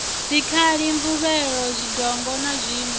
dzikhali mvuvhelo zwidongo na zwiṋwe